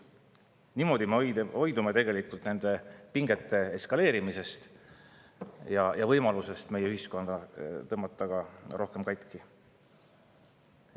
Niimoodi me hoidume nende pingete eskaleerimisest ja võimalusest, et me tõmbame meie ühiskonna veel rohkem katki.